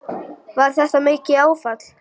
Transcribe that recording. Var þetta mikið áfall?